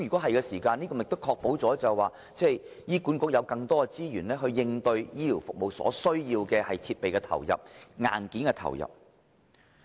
這樣便可以確保醫管局有更多資源應對醫療服務所需的設備或硬件。